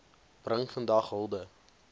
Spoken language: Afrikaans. bring vandag hulde